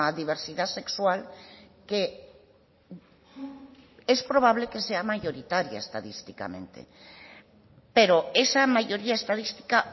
diversidad sexual que es probable que sea mayoritaria estadísticamente pero esa mayoría estadística